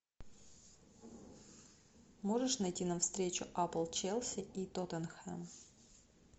можешь найти нам встречу апл челси и тоттенхэм